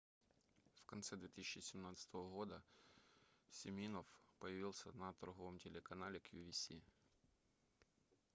в конце 2017 года симинофф появился на торговом телеканале qvc